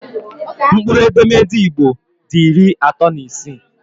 Mkpụrụ edemede Igbo dị iri atọ na isii